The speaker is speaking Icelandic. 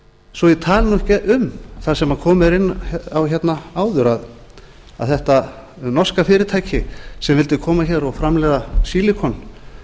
svo ég tali ekki um það sem komið er inn á áður að þetta norska fyrirtæki sem vildi koma hér og framleiða sílikon